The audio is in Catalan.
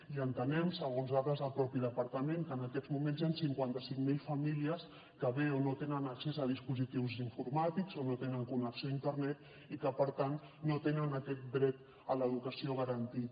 i entenem segons dades del mateix departament que en aquests moments hi han cinquanta cinc mil famílies que o bé no tenen accés a dispositius informàtics o no tenen connexió a internet i que per tant no tenen aquest dret a l’educació garantit